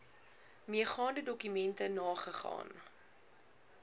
meegaande dokumente nagegaan